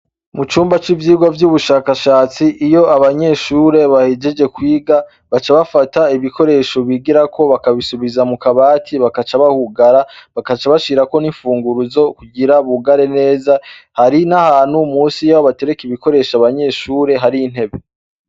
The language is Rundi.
Mu cumba c'ivyirwa vy'ubushakashatsi iyo abanyeshure bahijeje kwiga baca bafata ibikoresho bigirako bakabisubiza mu kabati bakaca bahugara bakaca bashirako n'imfunguru zo kugira bugare neza, hari na hanu musi yewo batereka ibikoresho abanyeshure hari ntebe.